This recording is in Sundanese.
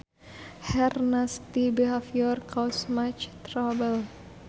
Her nasty behavior cause much trouble